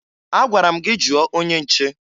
Agwara m gị jụọ onye nche!